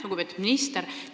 Lugupeetud minister!